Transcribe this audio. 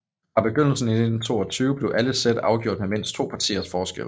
Fra begyndelsen i 1922 blev alle sæt afgjort med mindst to partiers forskel